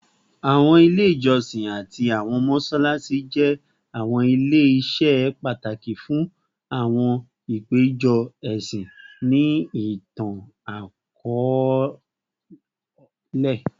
Awọn ile ijọsin ati awọn mọṣalaṣi jẹ awọn ile-iṣẹ pataki fun awọn apejọ ẹsin ni itan-akọọlẹ